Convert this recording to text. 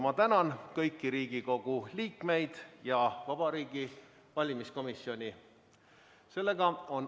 Ma tänan kõiki Riigikogu liikmeid ja Vabariigi Valimiskomisjoni!